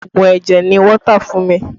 Oogun ẹ̀jẹ̀ ni wọ́n tà fún mi